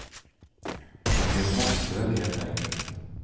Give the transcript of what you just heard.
En del måste väl helt enkelt.